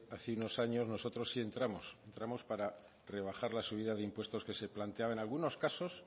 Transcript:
hace unos años nosotros sí entramos entramos para rebajar la subida de impuestos que se planteaba en algunos casos